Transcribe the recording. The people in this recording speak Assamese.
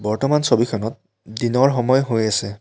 বৰ্তমান ছবিখনত দিনৰ সময় হৈ আছে।